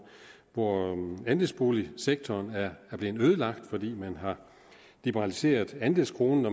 hvor andelsboligsektoren er blevet ødelagt fordi man har liberaliseret andelskronen